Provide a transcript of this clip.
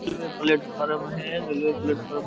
railway platform है railway platform --